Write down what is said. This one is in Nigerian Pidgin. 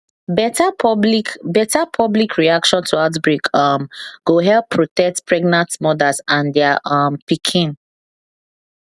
better public better public reaction to outbreak um go help protect pregnant mothers and their um pikin